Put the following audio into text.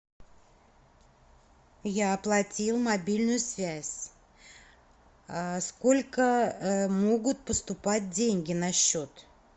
я оплатил мобильную связь сколько могут поступать деньги на счет